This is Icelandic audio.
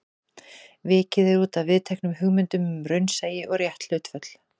Vikið er útaf viðteknum hugmyndum um raunsæi og rétt hlutföll.